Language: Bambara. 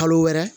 Kalo wɛrɛ